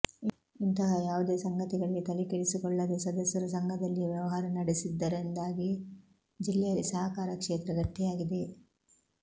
ಇಂತಹ ಯಾವುದೇ ಸಂಗತಿಗಳಿಗೆ ತಲೆಕೆಡಿಸಿಕೊಳ್ಳದೇ ಸದಸ್ಯರು ಸಂಘದಲ್ಲಿಯೇ ವ್ಯವಹಾರ ನಡೆಸಿದ್ದರಿಂದಾಗಿ ಜಿಲ್ಲೆಯಲ್ಲಿ ಸಹಕಾರ ಕ್ಷೇತ್ರ ಗಟ್ಟಿಯಾಗಿದೆ